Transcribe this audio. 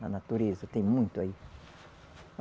Na natureza tem muito aí.